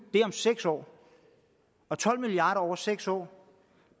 er om seks år og tolv milliard kroner over seks år